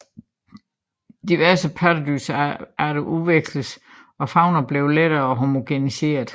Diverse pattedyrarter udveksledes og faunaen blev lettere homogeniseret